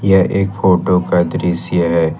यह एक फोटो का दृश्य है।